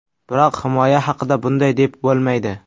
Biroq himoya haqida bunday deb bo‘lmaydi.